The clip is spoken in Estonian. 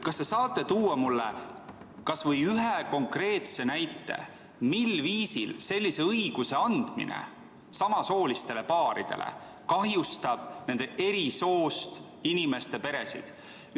Kas te saate tuua mulle kas või ühe konkreetse näite, mil viisil sellise õiguse andmine samasoolistele paaridele kahjustab eri soost inimeste peresid?